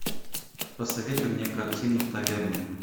посоветуй мне картину таверна